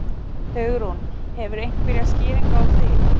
Hugrún: Hefurðu einhverja skýringu á því?